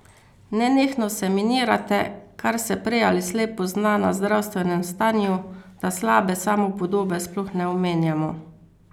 Nenehno se minirate, kar se prej ali slej pozna na zdravstvenem stanju, da slabe samopodobe sploh ne omenjamo.